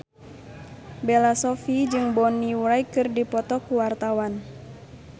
Bella Shofie jeung Bonnie Wright keur dipoto ku wartawan